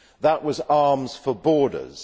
That was arms for borders.